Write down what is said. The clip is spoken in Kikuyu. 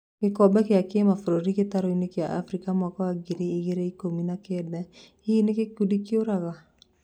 Gĩkombe gĩa kĩmabũrũri gĩtaro-inĩ kĩa Afrika mwaka wa ngiri igĩrĩ ikũmi na kenda, hihi rĩ nĩ gĩkundi kĩũrago?